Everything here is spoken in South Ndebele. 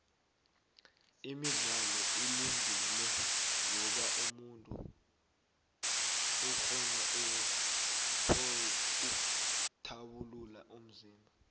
imidlalo ilungile ngoba umuntu ukghona ukthabulula umzimba